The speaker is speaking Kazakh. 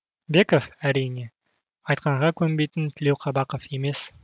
беков әрине айтқанға көнбейтін тілеуқабақов емес